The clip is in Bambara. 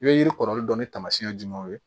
I bɛ yiri kɔrɔlen dɔn ni taamasiyɛn jumɛnw ye